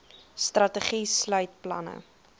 strategie sluit planne